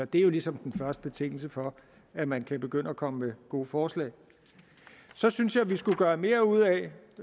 det er jo ligesom den første betingelse for at man kan begynde at komme med gode forslag så synes jeg vi skulle gøre mere ud af